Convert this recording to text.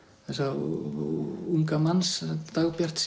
þessa unga manns